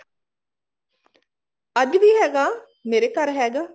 ਅੱਜਵੀ ਹੈਗਾ ਮੇਰੇ ਘਰ ਹੈਗਾ